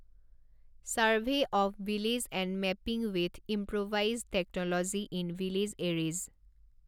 survey of village and mapping with improvised technology in village areas